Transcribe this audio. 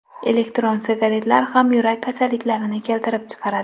Elektron sigaretlar ham yurak kasalliklarini keltirib chiqaradi.